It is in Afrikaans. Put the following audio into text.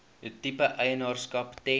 tipe eienaarskap ten